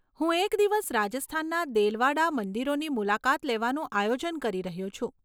હું એક દિવસ રાજસ્થાનના દેલવાડા મંદિરોની મુલાકાત લેવાનું આયોજન કરી રહ્યો છું.